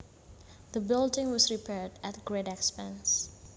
The building was repaired at great expense